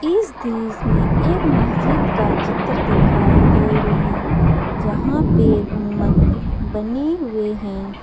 इस दृश्य में एक मस्जिद का चित्र दिखाई दे रहे हैं जहां पे गुंबद बने हुए हैं।